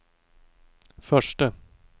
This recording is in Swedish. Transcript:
förste